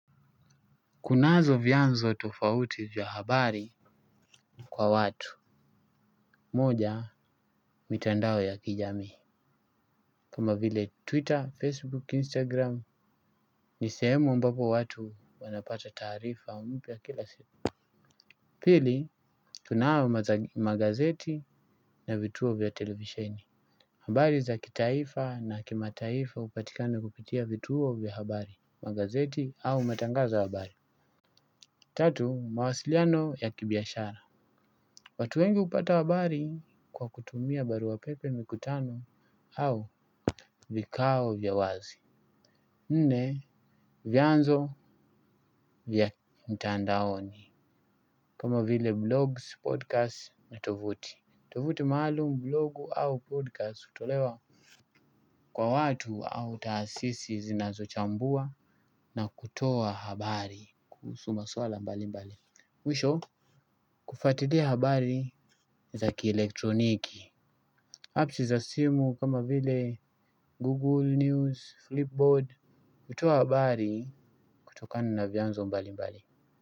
Kunazo vyanzo tofauti vya habari kwa watu. Moja mitandao ya kijamii kama vile twitter facebook instagram. Ni sehemu ambapo watu wanapata taarifa mpya kila siku. Pili tunao magazeti na vituo vya televisheni. Habari za kitaifa na kimataifa hupatikana kupitia vituo vya habari. Magazeti au matangazo ya habari. Tatu mawasiliano ya kibiashara. Watu wengi hupata habari kwa kutumia baruwa pepe mikutano au vikao vya wazi. Nne vyanzo vya mtandaoni kama vile blogs, podcasts na tovuti. Tovuti maalumu blogu au podcast hutolewa kwa watu au taasisi zinazochambua na kutoa habari kuhusu maswala mbali mbali mwisho? Kufatilia habari za kielektroniki apps za simu kama vile Google, News, Flipboard, hutoa habari kutoka na vyanzo mbali mbali.